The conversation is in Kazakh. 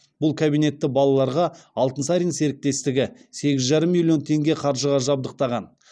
бұл кабинетті балаларға алтынсарин серіктестігі сегіз жарым миллион теңге қаржыға жабдықтаған